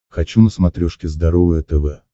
хочу на смотрешке здоровое тв